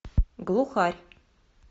глухарь